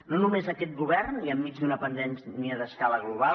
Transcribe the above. no només aquest govern i enmig d’una pandèmia d’escala global